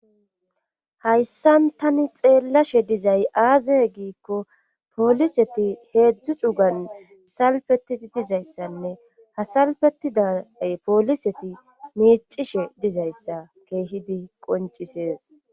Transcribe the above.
Hayssan tani xeelashe dizay aaze giiko poliseti heedzdzu cugan salfetidi dizayssanne ha salfetiday poliseti miicishe dizayssa keehidi qonccisees.